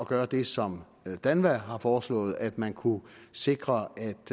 gøre det som danva har foreslået nemlig at man kunne sikre